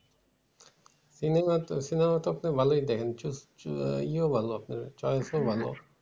cinema তো আপনি ভালোই দেখেন ইয়েও ভালো আছে choice ভালো আছে